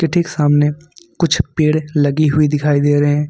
ठीक सामने कुछ पेड़ लगी हुई दिखाई दे रहे।